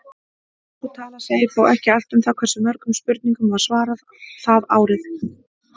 Sú tala segir þó ekki allt um það hversu mörgum spurningum var svarað það árið.